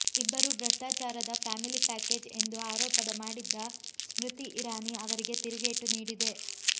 ಇಬ್ಬರೂ ಭ್ರಷ್ಟಾಚಾರದ family package ಎಂದು ಆರೋಪದ ಮಾಡಿದ್ದ ಸ್ಮೃತಿ ಇರಾನಿ ಅವರಿಗೆ ತಿರುಗೇಟು ನೀಡಿದೆ